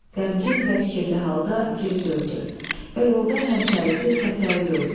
Qəmgin və fikirli halda geri döndü və yolda həmkərisi Səfdəri gördü.